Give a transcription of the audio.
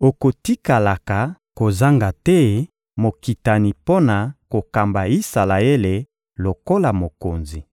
«Okotikalaka kozanga te mokitani mpo na kokamba Isalaele lokola mokonzi.»